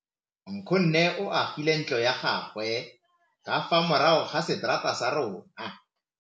Nkgonne o agile ntlo ya gagwe ka fa morago ga seterata sa rona.